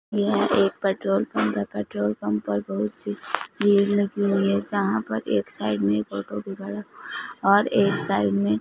यह एक petrol pump है पेट्रोल पंप पर बहुत सी भीड़ लगी हुई है जहां पर एक साइड में और एक साइड में--